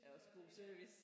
Er også god service